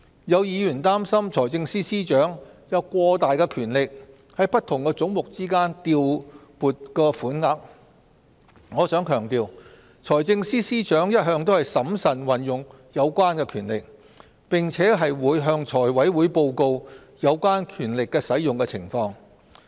有議員擔心財政司司長有過大的權力在不同總目之間調撥款額，我想強調，財政司司長一向審慎運用有關權力，並會向財務委員會報告有關權力的使用情況。